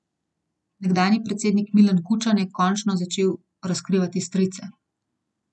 Nekdanji predsednik Milan Kučan je končno začel razkrivati strice.